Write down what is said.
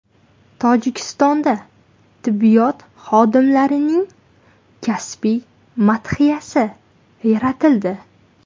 Tojikistonda tibbiyot xodimlarining kasbiy madhiyasi yaratildi.